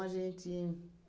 a gente